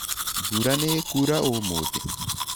Mbura nĩ ĩkũra ũmũthĩ?